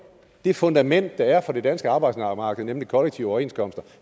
det fundament der er for det danske arbejdsmarked nemlig kollektive overenskomster